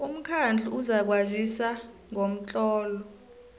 umkhandlu uzakwazisa ngomtlolo